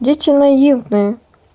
дети наивные